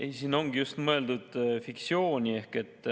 Ei, siin ongi mõeldud fiktsiooni.